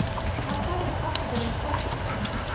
Hvað sagði pabbi þinn um hvolpinn?